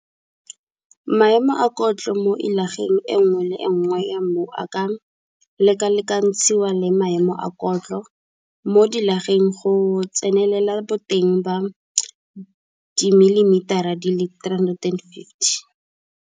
Maemo a kotlo mo llageng e nngwe le e nngwe ya mmu a ka lekalekatshiwa le maemo a kotlo mo dillageng go tsenelela boteng ba dimelimetara tse 350.